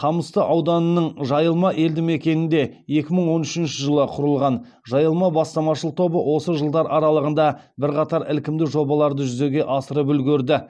қамысты ауданының жайылма елді мекенінде екі мың он үшінші жылы құрылған жайылма бастамашыл тобы осы жылдар аралығында бірқатар ілкімді жобаларды жүзеге асырып үлгерді